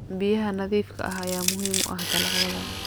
Biyaha nadiifka ah ayaa muhiim u ah dalagyada.